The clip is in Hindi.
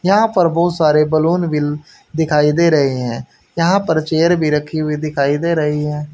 यहाँ पर बहुत सारे बलून भी दिखाइ दे रहे है यहाँ पर चेयर भी राखी हुई दिखाइ दे रही है।